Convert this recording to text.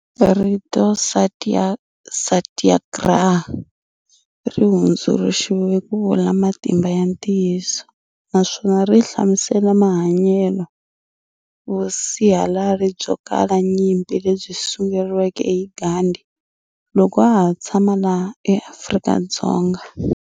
Rito Satyagraha ri hunduluxeriwa kuvula "Matimba ya Ntiyiso", naswona ri hlamusela mahanyelo vusihalari byo kala nyimpi lebyi sunguriweke hi Gandhi loko a ha tshama laha eAfrika-Dzonga.